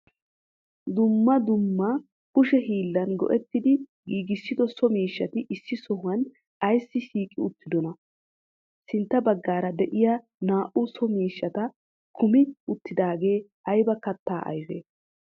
duummaa duummaa kushe hillan go7ettidi giggissido so miishshati issi sohuwa aysi shiqqi uttidonaa? sintta baggara de7iya naa7u so miishhshata kumi uttidagee ayba kattaa ayfe?